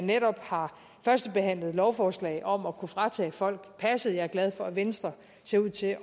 netop har førstebehandlet et lovforslag om at kunne fratage folk passet jeg er glad for at venstre ser ud til